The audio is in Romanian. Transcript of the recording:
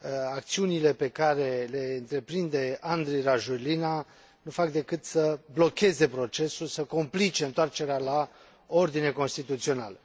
acțiunile pe care le întreprinde Andry Rajoelina nu fac decât să blocheze procesul, complicând întoarcerea la ordine constituțională.